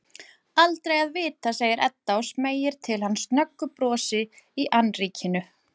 Aldrei að vita, segir Edda og smeygir til hans snöggu brosi í annríkinu.